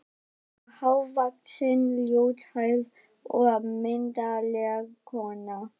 Hún er hávaxin, ljóshærð og myndarleg kona.